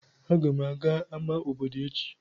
Agam aga ama obodo echi.